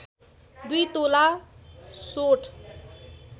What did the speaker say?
२ तोला सोंठ